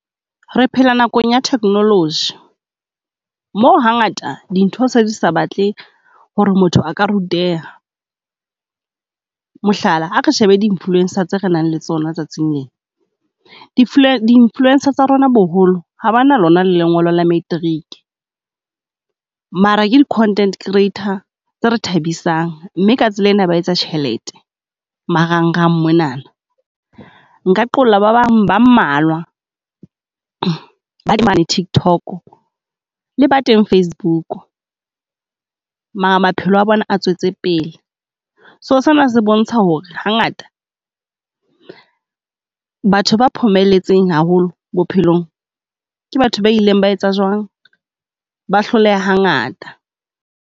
Re phela nakong ya technology, moo hangata dintho se di sa batle ho re motho a ka ruteha. Mohlala, ha re shebe di influence-a tse re nang le tsona tsatsing lena, di di influence-a tsa rona boholo ha ba na lona le lengolo la matric. Mara ke content creator tse re thabisang, mme ka tsela ena ba etsa tjhelete marangrang monana. Nka qolla ba bang ba mmalwa, TIKTOK le ba teng FACEBOOK, mara maphelo a bona a tswetse pele. So sena se bontsha ho re hangata, batho ba phomelletseng haholo bophelong ke batho ba ileng ba etsa jwang? Ba hloleha ha ngata.